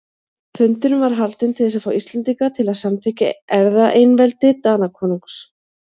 Fundurinn var haldinn til þess að fá Íslendinga til að samþykkja erfðaeinveldi Danakonungs.